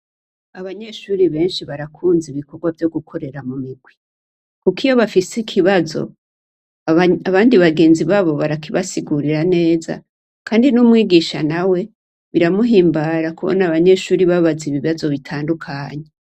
Abanyeshure benshi barakunze ibikorwa vyo gukorera mumigwi, kuk’iyo bafis’ikibazo , abandi bagenzi babo barakibasigurira neza, Kandi n’umwigisha nawe biramuhimbara kubona abanyeshure babaza ibibazo bitandukanye.